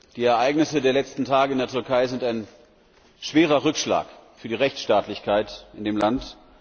Die Ereignisse der letzten Tage in der Türkei sind ein schwerer Rückschlag für die Rechtsstaatlichkeit in dem Land.